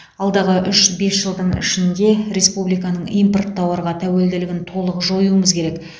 алдағы үш бес жылдың ішінде республиканың импорт тауарға тәуелділігін толық жоюымыз керек